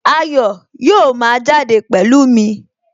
Ayọ̀ yóò máa jáde pẹ̀lú mi